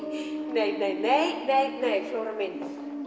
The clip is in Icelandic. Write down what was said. nei neineinei flóra mín